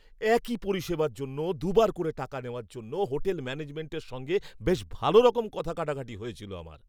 একই পরিষেবার জন্য দু'বার করে টাকা নেওয়ার জন্য হোটেল ম্যানেজমেণ্টের সঙ্গে বেশ ভালোরকম কথা কাটাকাটি হয়েছিল আমার।